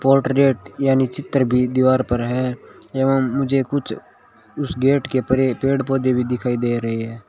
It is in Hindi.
पोर्ट्रेट यानी चित्र भी दीवार पर है एवं मुझे कुछ उस गेट के परे पेड़ पौधे भी दिखाई दे रहे हैं।